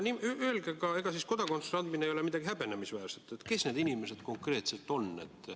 Öelge ka seda – ega siis kodakondsuse andmine ei ole midagi häbenemisväärset –, kes need inimesed konkreetselt on.